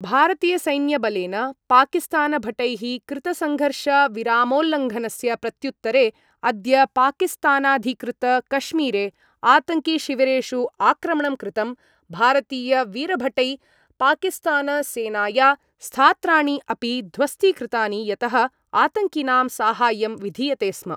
भारतीयसैन्यबलेन पाकिस्तानभटैः कृतसंघर्षविरामोल्लंघनस्य प्रत्युत्तरे अद्य पाकिस्तानाधिकृतकश्मीरे आतङ्किशिविरेषु आक्रमणं कृतं भारतीयवीरभटै पाकिस्तानसेनाया स्थात्राणि अपि ध्वस्तीकृतानि यतः आतङ्किनां साहाय्यं विधीयते स्म।